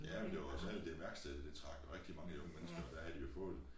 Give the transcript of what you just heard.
Ja det var særligt det værksted det trak rigtig mange unge mennesker og der havde de jo fået